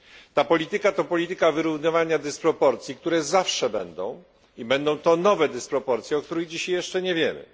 Ta polityka to polityka wyrównywania dysproporcji, które zawsze będą, i będą to nowe dysproporcje, o których dzisiaj jeszcze nie wiemy.